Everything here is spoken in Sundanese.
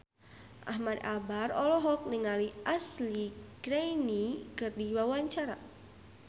Ahmad Albar olohok ningali Ashley Greene keur diwawancara